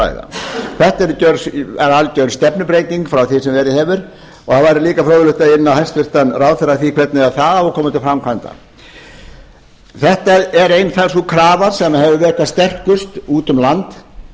ræða þetta er algjör stefnubreyting frá því sem verið hefur og það væri líka fróðlegt að inna hæstvirtan ráðherra eftir því hvernig það á að koma til framkvæmda sú krafa sem hefur verið hvað sterkust úti um land er